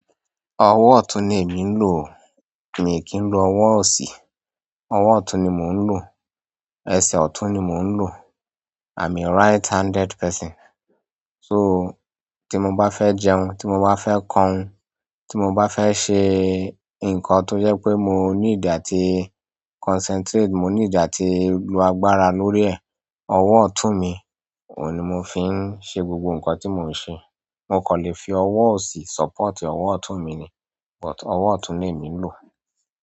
Ọwọ́ ọ̀tún ni èmi ń lò o. Miì kí ń lo ọwọ́ òsì. Ọwọ́ ọ̀tún ni mò ń lò. Ẹsẹ̀ ọ̀tún ni mò ń lò. I'm a right-handed person. So, tí mo bá fẹ́ jẹun, tí mo bá fẹ́ kọrin, tí mo bá fẹ́ ṣe nǹkan tó jẹ́ pé mo need àti concentrate, mo need àti lo agbára lórí ẹ̀, ọwọ́ ọ̀tún mi, òun ni mo fi ń ṣe gbogbo nǹkan tí mò ń ṣe. Mo kàn lè fi ọwọ́ òsì support ọwọ́ ọ̀tún mi ni, but ọwọ́ ọ̀tún lèmi ń lò.